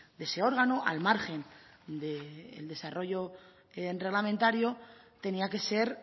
de ese órgano al margen del desarrollo reglamentario tenía que ser